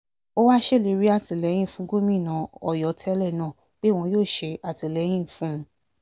ó wáá ṣèlérí àtìlẹ́yìn fún gómìnà ọ̀yọ́ tẹ́lẹ̀ náà pé òun yóò ṣe àtìlẹ́yìn fún un